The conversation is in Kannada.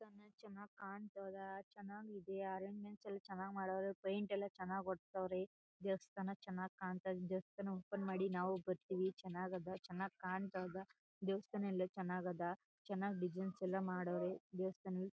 ಚನ್ನಾಗ್ ಕಾಂತದ ಚನ್ನಾಗ್ ಈದಿಯ ಅರಂಜ್ಮೆಂಟ್ ಎಲ್ಲ ಚನ್ನಾಗ್ ಮಾಡವ್ರೆ ಪೈಂಟ್ ಎಲ್ಲ ಚನ್ನಾಗ್ ಓಡ್ಸವ್ರೆ ದೇವಸ್ಥಾನ ಚನ್ನಾಗ್ ಕಾಂತದ ದೇವಸ್ಥಾನ ಓಪನ್ ಮಾಡಿ ನಾವು ಬರ್ತೀವಿ ಚನ್ನಾಗ್ ಅಧ ಚನ್ನಾಗ್ ಕಾಣ್ತಾಧ ದೇವಸ್ಥಾನ ಎಲ್ಲ ಚನ್ನಾಗ್ ಅಧ ಚನ್ನಾಗ್ ಡಿಸೈನ್ಸ್ ಎಲ್ಲ ಮಾಡವ್ರೆ ದೇವಸ್ಥಾನ--